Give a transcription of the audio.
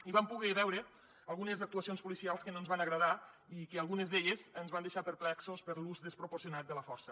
hi vam poder veure algunes actuacions policials que no ens van agradar i que algunes ens van deixar perplexos per l’ús desproporcionat de la força